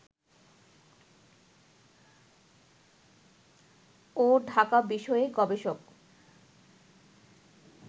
ও ঢাকা বিষয়ে গবেষক